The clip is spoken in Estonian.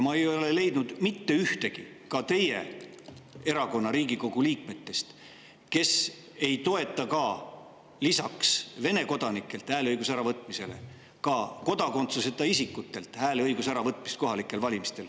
Ma ei ole leidnud mitte ühtegi ka teie erakonna Riigikogu liiget, kes ei toetaks lisaks Vene kodanikelt hääleõiguse äravõtmisele ka kodakondsuseta isikutelt hääleõiguse äravõtmist kohalikel valimistel.